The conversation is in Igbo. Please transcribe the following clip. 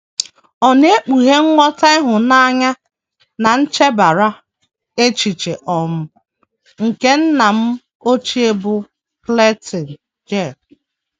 Ọ na - ekpughe nghọta ịhụnanya na nchebara echiche um nke nna m ochie bụ́ Clayton J.